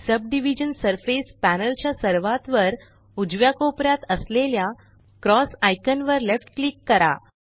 subdivision surface panel च्या सर्वात वर उजव्या कोपऱ्यात असलेल्या क्रॉस आइकान वर लेफ्ट क्लिक करा